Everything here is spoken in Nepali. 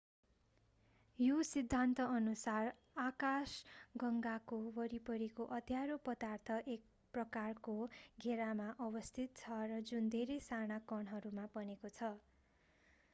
यस सिद्धान्तअनुसार आकाशगङ्गाको वरिपरिको अँध्यारो पदार्थ एक प्रकारको घेरामा अवस्थित छ जुन धेरै साना कणहरूबाट बनेको छ